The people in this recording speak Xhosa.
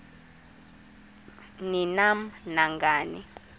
ni nam nangani